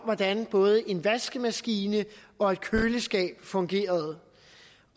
hvordan både en vaskemaskine og et køleskab fungerede